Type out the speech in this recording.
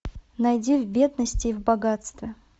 найди в бедности и в богатстве